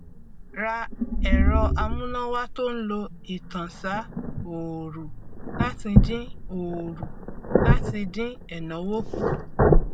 ra ẹrọ amúnáwá tó ń lo ìtànsá òòrù láti dín òòrù láti dín ẹnáwó kù